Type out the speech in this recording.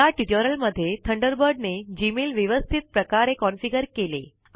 या ट्यूटोरियल मध्ये थंडरबर्ड ने जीमेल व्यवस्थित प्रकारे कॉन्फ़िगर केले